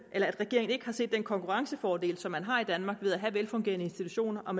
at regeringen ikke har set den konkurrencefordel som man har i danmark ved at have velfungerende institutioner og